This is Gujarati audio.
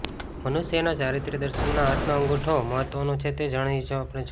મનુષ્યના ચારિત્ર્ય દર્શનમાં હાથનો અંગૂઠો મહત્ત્વનો છે તે આપણે જોયું